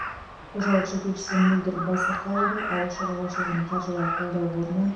қожалық жетекшісі мөлдір байсақалова ауыл шаруашылығын қаржылай қолдау қорынан